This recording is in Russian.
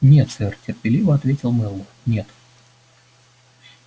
нет сэр терпеливо ответил мэллоу нет